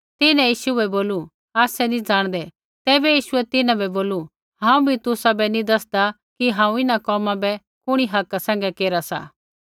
तिन्हैं यीशु बै बोलू आसै नी ज़ाणदै तैबै यीशुऐ तिन्हां बै बोलू हांऊँ भी तुसाबै नी दसदा कि हांऊँ इन्हां कोमा बै कुणी हका सैंघै केरा सा